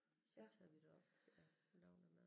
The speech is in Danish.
Så tager vi derop jeg jeg laver noget mad